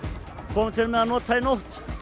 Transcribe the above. komum til með að nota í nótt